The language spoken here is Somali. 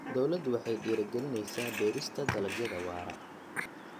Dawladdu waxay dhiirigelinaysaa beerista dalagyada waara.